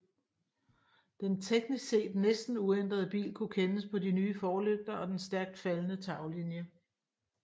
Den teknisk set næsten uændrede bil kunne kendes på de nye forlygter og den stærkt faldende taglinje